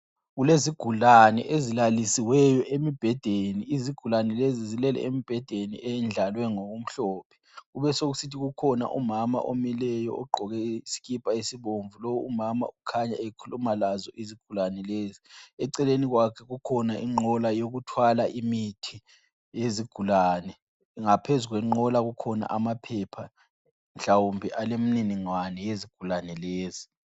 Kulezigulane ezilalisiweyo emibhedeni. Izigulane lezi zilele emibhedeni eyendlalwe ngokumhlophe. Kubesekusithi kukhona umama omileyo ogqoke isikipa esibomvu. Lowu umama ukhanya ekhuluma lazo izigulane lezo. Eceleni kwakhe kukhona inqola yokuthwala imithi yezigulane. Ngaphezu kwenqola kukhona amaphepha mhlawumbe alemniningwane yezigulane lezo.